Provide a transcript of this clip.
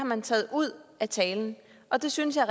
man taget ud af talen og det synes jeg